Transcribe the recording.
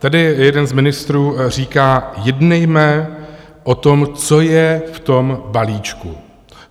Tady jeden z ministrů říká - jednejme o tom, co je v tom balíčku.